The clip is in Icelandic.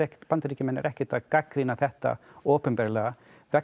Bandaríkjamenn eru ekkert að gagnrýna þetta opinberlega vegna